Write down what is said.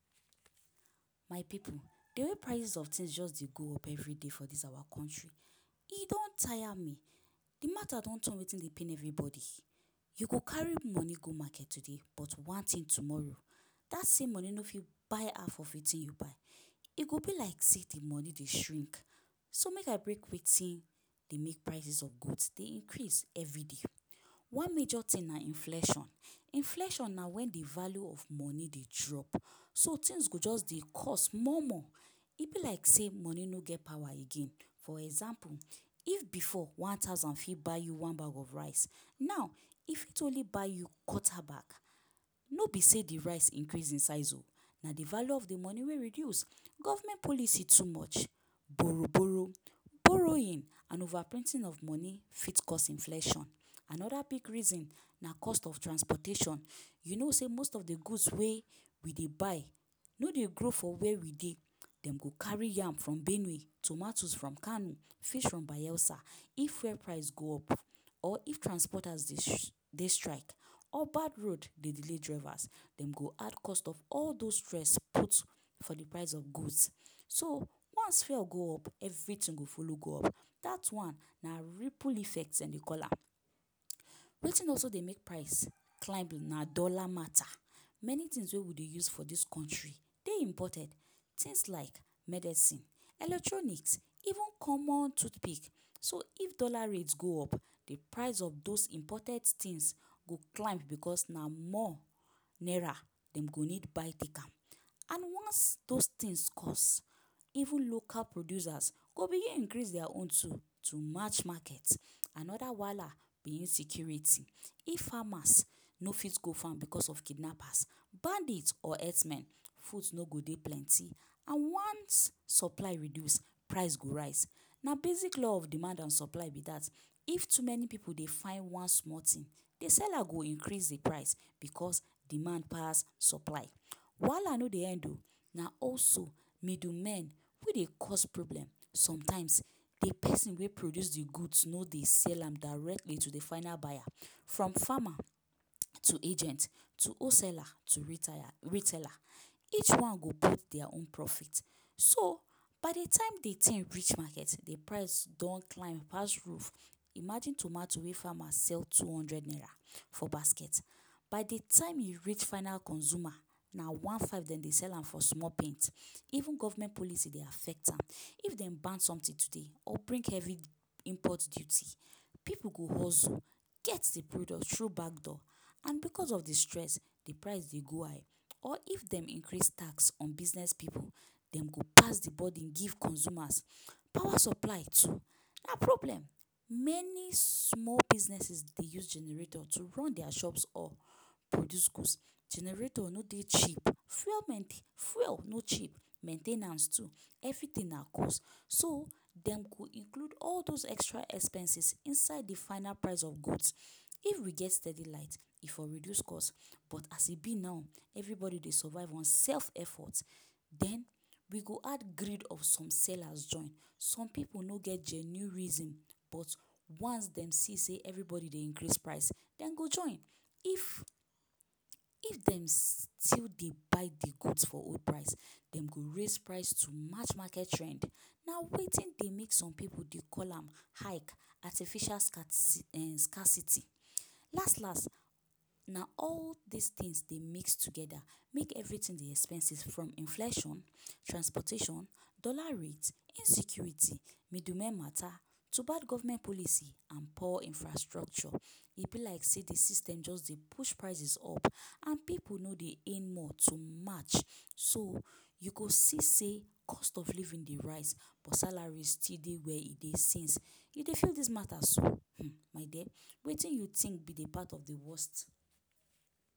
My pipu, the way prices of things just dey go up every day for dis awa country, e don tire me! De mata don turn wetin dey pain everybody. You go carry money go market today, but one thing tomorrow that same money no fit buy half of wetin you buy. E go be like sey the money dey shrink. So make I break wetin dey make prices of goods dey increase every day. One major thing na inflation. Inflation na when the value of money dey drop. Some things go just dey cost more-more. E be like sey money no get power again. For example, if before, one thousand fit buy you one bag of rice, now, e fit only buy you quarter bag. No be sey de rice increase in size o, na de value of de money wey reduce. Government policy too much, borrow-borrow, borrowing and overprinting of money fit cause inflation. Another big reason na cost of transportation. You know sey most of de goods wey we dey buy no dey grow for where we dey. Dem go carry am from Benue, tomatoes from Kano, fish from Bayelsa. If fuel price go up or if transporters dey dey strike or bad road dey delay drivers, dem go add cost of those stress put for de price of goods. So once fuel go up, everything go follow go up. Dat one, na ripple effect dem dey call am. Wetin also dey make price climb na dollar mata. Many things wey we dey use for dis country dey imported. Things like medicine, electronics, even common toothpick. So, if dollar rate go up, de price of those imported things go climb because na more naira dem go need buy take am. And once those things cost, even local producers go begin increase dia own too to match market. Another wahala be insecurity. If farmers no fit go farm because of kidnappers, bandits or herdsmen, no go dey plenty. And once supply reduce, price go rise. Na basic law of demand and supply be that. If too many pipu dey find one small thing, the seller go increase de price because demand pass supply. Wahala no dey end o! Na also middle men wey dey cause problem. Sometimes, de pesin wey produce de goods no dey sell am directly to de final buyer. From farmer to agent to wholesaler to retailer. Each one go put dia own profit. So, by de time de thing reach market, de price don climb pass roof. Imagine tomato wey farmer sell two hundred naira for basket, by the time e reach final consumer, na one-five dem dey sell am for small paint. Even government policy dey affect am. If dem ban something today or bring heavy import duty, pipu go hustle get the product through backdoor. And because of de stress, de price dey go high. Or if dem increase tax on business pipu, dem go pass de burden give consumers. Power supply too na problem. Many small businesses dey use generator to run dia shops or produce goods. Generator no dey cheap. Fuel fuel no cheap, main ten ance too. Everything na cost. So dem go include all those extra expenses inside the final price of goods. If we get steady light, e for reduce cost. But as e be now, everybody dey survive on self-effort. Den we go add greed of some sellers join. Some pipu no get genuine reason, but once dem see sey everybody dey increase price, dem go join. If if dem still dey buy the goods for old price, dem go raise price to match market trend. Na wetin dey make some pipu dey call am ‘hike’ – artificial um scarcity. Last last, na all dis things dey mix together make everything dey expensive from inflation, transportation, dollar rate, insecurity, middlemen mata to bad government policy and poor infrastructure. E be like sey the system just dey push prices up and pipu no dey earn more to match. So, you go see sey cost of living dey rise, but salary still dey where e dey since. You dey feel dis mata so? um My dear, wetin you think be de part of de worst?